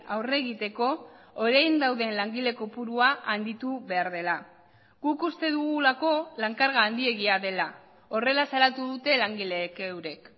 aurre egiteko orain dauden langile kopurua handitu behar dela guk uste dugulako lan karga handiegia dela horrela salatu dute langileek eurek